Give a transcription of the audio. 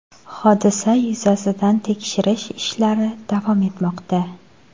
Hodisa yuzasidan tekshirish ishlari davom etmoqda.